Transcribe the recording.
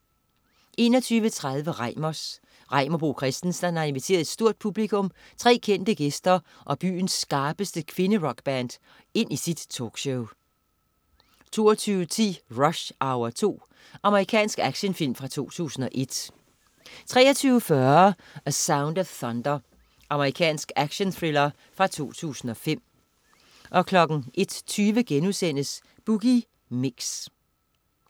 21.30 Reimers. Reimer Bo Christensen har inviteret et stort publikum, tre kendte gæster og byens skarpeste kvinderockband ind i sit talkshow 22.10 Rush Hour 2. Amerikansk actionfilm fra 2001 23.40 A Sound of Thunder. Amerikansk actionthriller fra 2005 01.20 Boogie Mix*